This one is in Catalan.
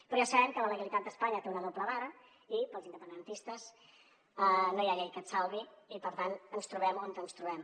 però ja sabem que la legalitat d’espanya té una doble vara i per als independentistes no hi ha llei que et salvi i per tant ens trobem on ens trobem